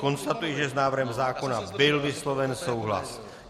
Konstatuji, že s návrhem zákona byl vysloven souhlas.